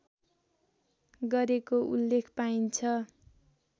गरेको उल्लेख पाइन्छ